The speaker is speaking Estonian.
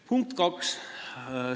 Punkt kaks.